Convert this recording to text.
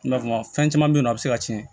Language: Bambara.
I na fɔ fɛn caman be yen nɔ a bi se ka tiɲɛ